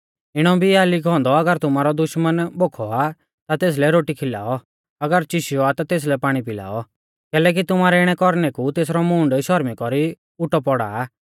इणौ भी आ लिखौ औन्दौ अगर तुमारौ दुश्मना भोखौ आ ता तेसलै रोटी खिलाऔ अगर चिशौ आ ता तेसलै पाणी पिलाऔ कैलैकि तुमारै इणै कौरणै कु तेसरौ मूंढ शौरमी कौरी उटौ पौड़ा आ